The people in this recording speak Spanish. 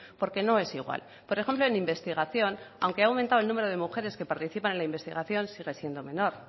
porque no es igual por ejemplo en investigación aunque ha aumentado en número de mujeres que participan en la investigación sigue siendo menor